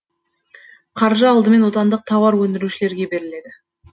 қаржы алдымен отандық тауар өндірушілерге беріледі